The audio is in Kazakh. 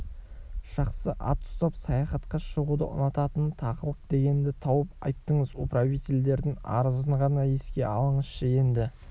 жақсы ат ұстап саяхатқа шығуды ұнататын тағылық дегенді тауып айттыңыз управительдердін арызын ғана еске алыңызшы енді